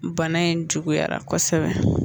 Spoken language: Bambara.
Bana in juguyara kosɛbɛ